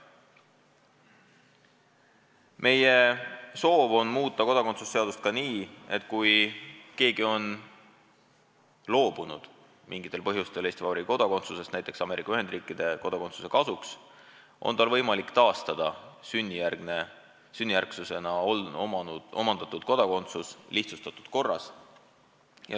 Meie soov on muuta kodakondsuse seadust ka nii, et kui keegi on loobunud mingitel põhjustel Eesti Vabariigi kodakondsusest näiteks Ameerika Ühendriikide kodakondsuse kasuks, siis on tal võimalik taastada sünnijärgne kodakondsus lihtsustatud korras.